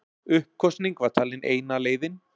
Uppkosning var talin eina leiðin